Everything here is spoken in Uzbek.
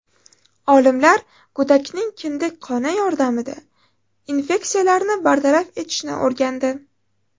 Olimlar go‘dakning kindik qoni yordamida infeksiyalarni bartaraf etishni o‘rgandi.